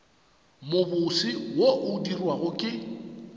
mobose wo o dirwago ke